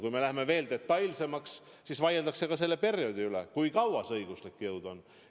Kui me läheme detailsemaks, siis vaieldakse selle perioodi üle, kui kaua sel õiguslik jõud on.